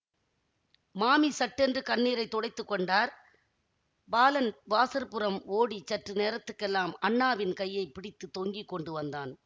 மாமி சட்டென்று கண்ணீரை துடைத்து கொண்டார் பாலன் வாசற்புறம் ஓடி சற்று நேரத்துக்கெல்லாம் அண்ணாவின் கையை பிடித்து தொங்கி கொண்டு வந்தான்